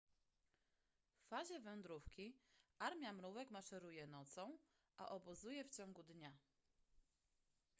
w fazie wędrówki armia mrówek maszeruje nocą a obozuje w ciągu dnia